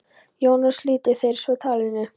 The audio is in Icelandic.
Jón og slitu þeir svo talinu.